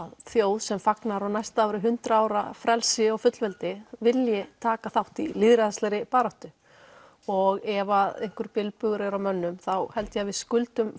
þjóð sem fagnar á næsta ári hundrað ára frelsi og fullveldi vilji taka þátt í lýðræðislegri baráttu og ef einhver bilbugur er á mönnum þá held ég að við skuldum